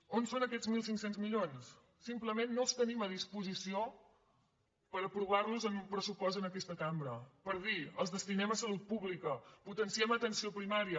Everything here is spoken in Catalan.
on són aquests mil cinc cents milions simplement no els tenim a disposició per aprovar los en un pressupost en aquesta cambra per dir els destinem a salut pública potenciem atenció primària